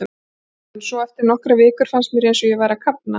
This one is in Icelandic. En svo, eftir nokkrar vikur, fannst mér eins og ég væri að kafna.